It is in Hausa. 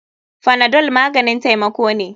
Panadol maganin taimako ne.